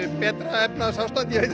betra efnahagsástand ég veit það